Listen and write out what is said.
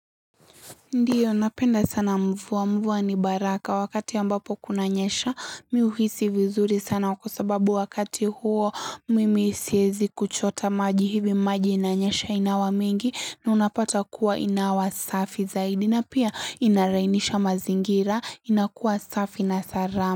Ndiyo napenda sana mvua mvua ni baraka wakati ambapo kunanyesha mi uhisi vizuri sana kwa sababu wakati huo mimi siezi kuchota maji hivi maji inanyesha inawa mingi na unapata kuwa inawa safi zaidi na pia inalainisha mazingira inakuwa safi na salama.